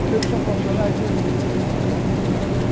Vocês não são profissionais hoje?